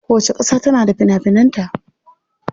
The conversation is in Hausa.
Kowacce kasa tana da fina finan ta.